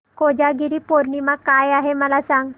कोजागिरी पौर्णिमा काय आहे मला सांग